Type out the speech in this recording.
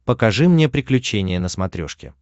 покажи мне приключения на смотрешке